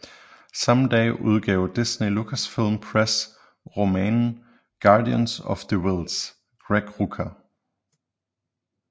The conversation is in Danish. Samme dag udgav Disney Lucasfilm Press romanen Guardians of the Whills Greg Rucka